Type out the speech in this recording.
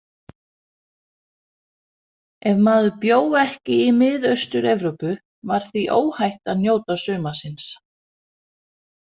Ef maður bjó ekki í Miðaustur- Evrópu var því óhætt að njóta sumarsins.